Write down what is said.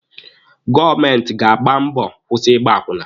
Gọọmenti ga-agba mbọ kwụsị Ịgba akwụna.